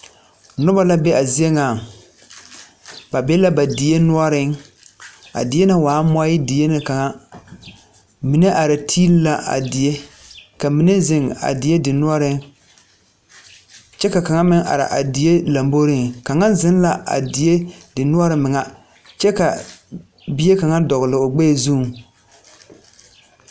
Noba la be a zie ŋaŋ ba be la ba die noɔreŋ a die ŋa waaɛ mɔe die na kaŋa mine are tiili la a die ka mine zeŋ a die dennoɔreŋ kyɛ ka ka meŋ are a die lɔmboreŋ kaŋa żeŋ la a die denoɔre meŋɛ kyɛ ka bie kaŋa dɔgle o gbɛɛ zuŋ.